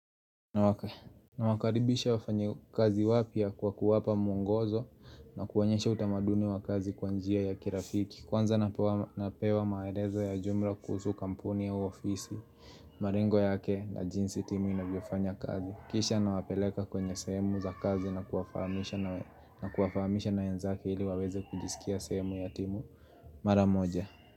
Na waka nawakaribisha wafanya kazi wapya kwa kuwapa mwongozo na kuonyesha utamaduni wa kazi kwa njia ya kirafiki. Kwanza napewa maelezo ya jumla kuhusu kampuni au ofisi, malengo yake na jinsi timu inavyofanya kazi. Kisha nawapeleka kwenye sehemu za kazi na kuwafahamisha na wenzake ili waweze kujisikia sehemu ya timu mara moja.